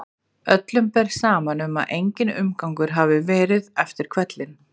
Öllum ber saman um að enginn umgangur hafi verið eftir hvellinn.